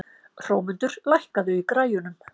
Hrómundur, lækkaðu í græjunum.